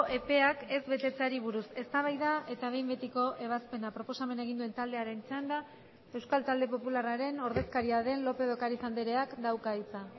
epeak ez betetzeari buruz eztabaida eta behin betiko ebazpena proposamena egin duen taldearen txanda euskal talde popularraren ordezkaria den lópez de ocariz andreak dauka hitza